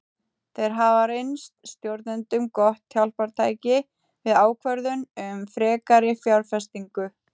Þeir hafa reynst stjórnendum gott hjálpartæki við ákvörðun um frekari fjárfestingu.